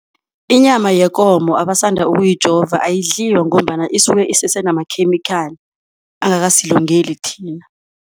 Inyama yekomo abasanda ukuyijova ayidliwa ngombana isuke isese namakhemikhali angakasilungeli thina.